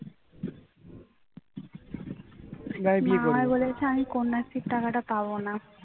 মা বলেছে আমি কন্যাশ্রীর টাকাটা পাবো না